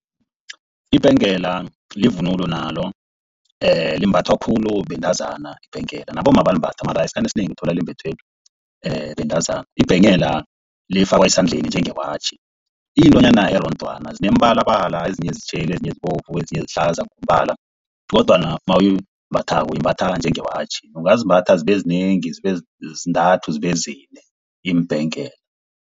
Ibhengela livunulo nalo limbathwa khulu bentazana ibhengela, nabomma bayalimbatha mara esikhathini esinengi uthola limbathwa bentazana. Ibhengela lifakwa esandleni njenge watjhi, iyintwanyana erondwana zinemibalabala ezinye zitjheli, ezinye zibovu, ezinye sihlaza ngombala, kodwana mawuyimbathako uyimbatha njenge watjhi. Ungazimbatha zibe zinengi, zibe zintathu zibe zine iimbhegela.